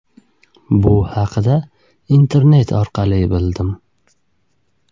Bu haqida internet orqali bildim.